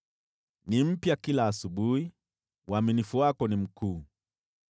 Ni mpya kila asubuhi, uaminifu wako ni mkuu.